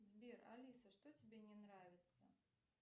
сбер алиса что тебе не нравится